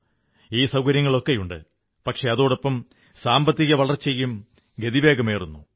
ഈ സൌകര്യങ്ങളൊക്കെയുണ്ട് പക്ഷേ അതോടൊപ്പം സാമ്പത്തിക വളർച്ചയ്ക്കും ഗതിവേഗമേറുന്നു